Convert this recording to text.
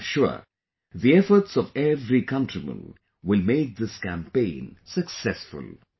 I am sure, the efforts of every countryman will make this campaign successful